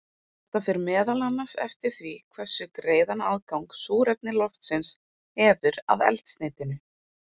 Þetta fer meðal annars eftir því hversu greiðan aðgang súrefni loftsins hefur að eldsneytinu.